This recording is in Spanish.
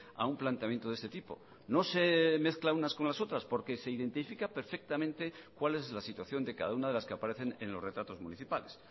a un planteamiento de ese tipo no se mezcla unas con las otras porque se identifica perfectamente cuál es la situación de cada una de las que aparecen en los retratos municipales